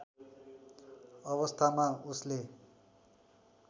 अवस्थामा उसले